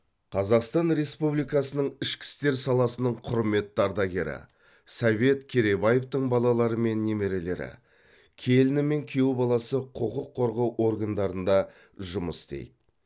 қазақстан республикасының ішкі істер саласының құрметті ардагері совет керейбаевтың балалары мен немерелері келіні мен күйеу баласы құқық қорғау органдарында жұмыс істейді